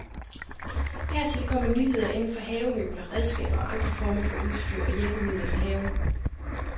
Hertil kommer nyheder inden for havemøbler, redskaber og andre former for udstyr og hjælpemidler til haven.